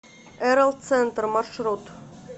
эрэл центр маршрут